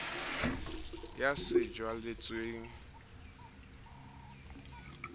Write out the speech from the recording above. ya sejwalejwale e nkehang ha